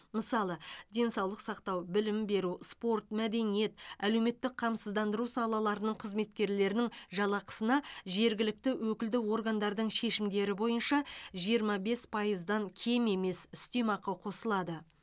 мысалы денсаулық сақтау білім беру спорт мәдениет әлеуметтік қамсыздандыру салаларының қызметкерлерінің жалақысына жергілікті өкілді органдардың шешімдері бойынша жиырма бес пайыздан кем емес үстемақы қосылады